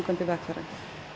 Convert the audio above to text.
vegfarenda